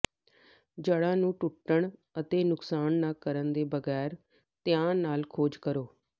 ਜੜ੍ਹਾਂ ਨੂੰ ਟੁੱਟਣ ਅਤੇ ਨੁਕਸਾਨ ਨਾ ਕਰਨ ਦੇ ਬਗੈਰ ਧਿਆਨ ਨਾਲ ਖੋਜ਼ ਕਰੋ